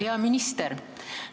Hea minister!